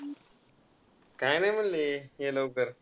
काय नाय म्हणले, ये लवकर.